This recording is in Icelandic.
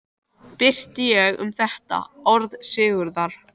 Birti ég um þetta orð Sigurðar